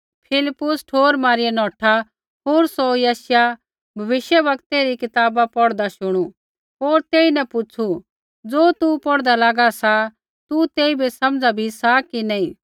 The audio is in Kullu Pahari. फिलिप्पुस ठोर मारिआ नौठा होर सौ यशायाह भविष्यवक्तै री कताब पौढ़दा शुणू होर तेईन पुछ़ू ज़ो तू पौढ़दा लागा सा तू तेइबै समझ़ा बी सा कि नी